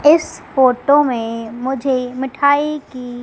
इस फोटो में मुझे मिठाई की--